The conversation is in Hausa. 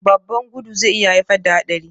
Babban gudun zai iya haifar da haɗari